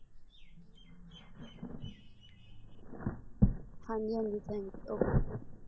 ਹਾਂਜੀ ਹਾਂਜੀ ਟੈਂਕੀ ਇਕ